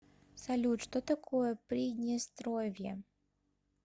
салют что такое приднестровье